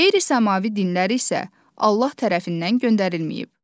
Qeyri-səmavi dinlər isə Allah tərəfindən göndərilməyib.